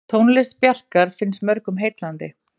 Tónlist Bjarkar finnst mörgum heillandi.